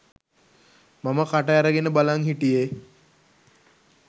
මම කට ඇරගෙන බලන් හිටියේ.